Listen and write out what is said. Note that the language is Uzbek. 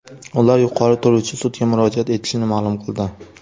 Ular yuqori turuvchi sudga murojaat etishini ma’lum qildi.